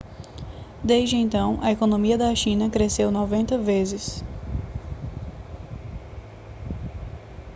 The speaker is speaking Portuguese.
desde então a economia da china cresceu 90 vezes